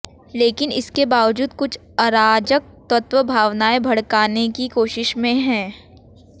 लेकिन इसके बावजूद कुछ अराजक तत्व भावनाए भड़काने की कोशिश में हैं